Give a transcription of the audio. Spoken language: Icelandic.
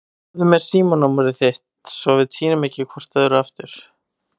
Gefðu mér símanúmerið þitt svo við týnum ekki hvort öðru aftur.